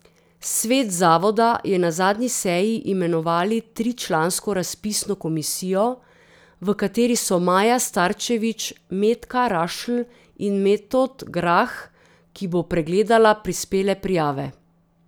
Svet zavoda je na zadnji seji imenovali tričlansko razpisno komisijo, v kateri so Maja Starčevič, Metka Rašl in Metod Grah, ki bo pregledala prispele prijave.